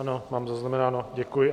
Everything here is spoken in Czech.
Ano, mám zaznamenáno, děkuji.